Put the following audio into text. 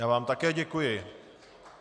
Já vám také děkuji.